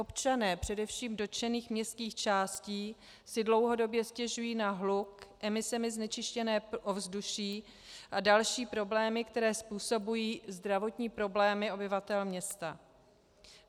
Občané především dotčených městských částí si dlouhodobě stěžují na hluk, emisemi znečištěné ovzduší a další problémy, které způsobují zdravotní problémy obyvatel města.